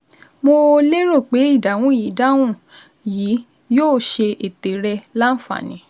Mo lérò pé ìdáhùn yìí ìdáhùn yìí yóò ṣe ète rẹ láǹfààní